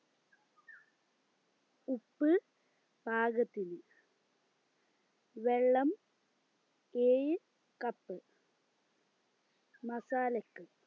ഉപ്പ് പാകത്തിന് വെള്ളം ഏഴ് cup മസാലക്ക്